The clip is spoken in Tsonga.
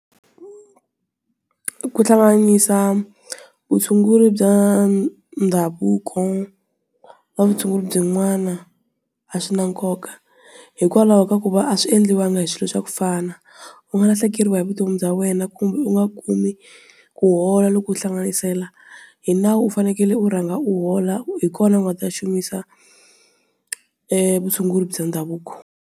Ku hlanganisa vutshunguri bya ndhavuko, na vutshunguri byin'wana, a swi na nkoka. Hikwalaho ka ku va a swi endliwa nga hi swilo swa ku fana. U nga lahlekeriwa hi vutomi bya wena kumbe u nga kumi, ku hola loko u hlanganisela. Hi nawu u fanekele u rhanga u hola u hi kona u nga ta xumisa vutshunguri bya ndhavuko.